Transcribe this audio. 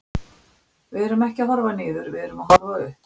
Við erum ekki að horfa niður, við erum að horfa upp.